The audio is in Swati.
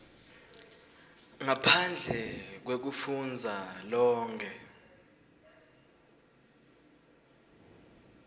ngaphandle kwekufundza lonkhe